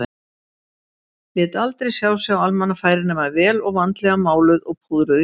Lét aldrei sjá sig á almannafæri nema vel og vandlega máluð og púðruð í framan.